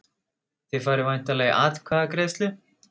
Þið farið væntanlega í atkvæðagreiðslu?